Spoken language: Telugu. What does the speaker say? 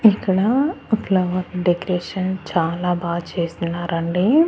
ఇక్కడా ఫ్లవర్ డెకరేషన్ చాలా బా చేస్తున్నారండి.